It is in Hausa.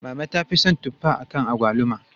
Mama ta fi son tuffa akan agwaluma.